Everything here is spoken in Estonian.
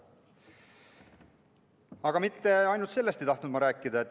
Aga mitte ainult sellest ei tahtnud ma rääkida.